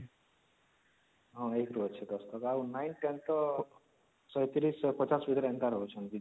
ହଁ ୧ ରୁ ଅଛି ୧୦ ତକ ଆଉ 9th 10th ତ ୧୩୦ ୧୫୦ ଭିତରେ ଏନ୍ତା ରହୁଛନ୍ତି